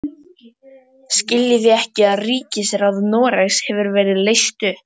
Skiljið þið ekki að ríkisráð Noregs hefur verið leyst upp!